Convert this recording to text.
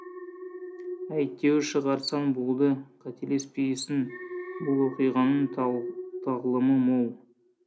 әйтеуір шығарсаң болды қателеспейсің бұл оқиғаның тағлымы мол